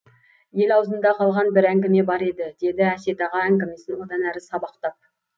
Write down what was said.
ел аузында қалған бір әңгіме бар еді деді әсет аға әңгімесін одан әрі сабақтап